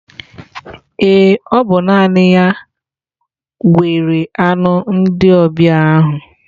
Ee, ọ bụ naanị ya gwere anụ ndị ọbịa ahụ